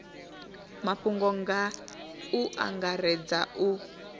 mafhungo nga u angaredza a